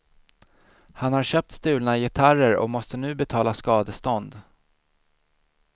Han har köpt stulna gitarrer och måste nu betala skadestånd.